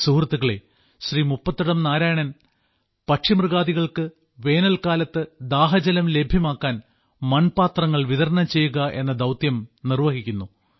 സുഹൃത്തുക്കളേ ശ്രീ മുപ്പത്തടം നാരായണൻ പക്ഷിമൃഗാദികൾക്ക് വേനൽക്കാലത്ത് ദാഹജലം ലഭ്യമാക്കാൻ മൺപാത്രങ്ങൾ വിതരണം ചെയ്യുക എന്ന ദൌത്യം നിർവ്വഹിക്കുന്നു